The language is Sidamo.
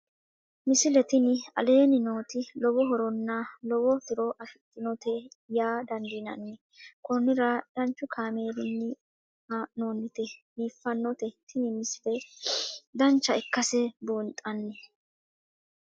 misile tini aleenni nooti lowo horonna lowo tiro afidhinote yaa dandiinanni konnira danchu kaameerinni haa'noonnite biiffannote tini misile dancha ikkase buunxanni